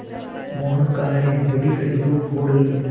मोहन कहाँ हैं बड़ी कड़ी धूप हो रही है